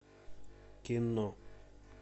кино